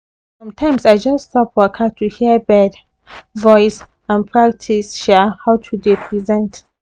sometimes i just stop waka to hear bird voice and practice um how to dey present